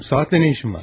Saatla nə işin var?